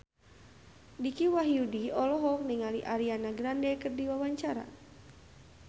Dicky Wahyudi olohok ningali Ariana Grande keur diwawancara